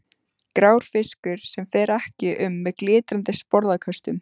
Grár fiskur sem fer ekki um með glitrandi sporðaköstum.